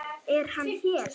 Er hann hér?